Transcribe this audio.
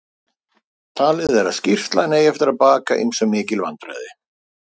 Talið er að skýrslan eigi eftir baka ýmsum mikil vandræði.